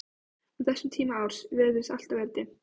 Á þessum tíma árs virtist alltaf vera dimmt.